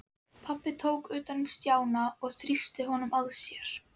Pabbi tók utan um Stjána og þrýsti honum að sér.